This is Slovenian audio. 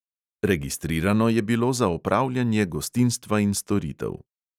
Registrirano je bilo za opravljanje gostinstva in storitev.